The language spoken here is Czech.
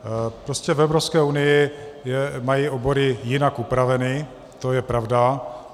Prostě v Evropské unii mají obory jinak upraveny, to je pravda.